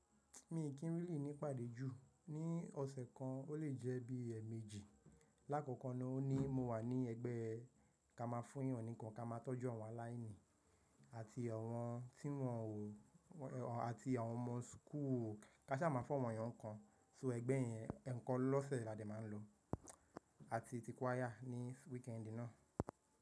Mi kì n really ní pàdé jù, ní ọ̀sẹ̀ kan o le jẹ́ bí ẹ̀eméjì. Láàkọ̀kọ̀ naa o ní mo wà ní ẹgbẹ́ ká má a fún èèyàn nì nkan ká má a tọ́jú awọn aláìní àti àwọn tí wọn o àti àwọn ọmọ school, ká sá má a fún awọn eeyàn kan. So ẹgbẹ́ yẹn eekan lọ́sẹ̀ lá dè má a ń lo àti ti choir ní weekẹ́nd náà.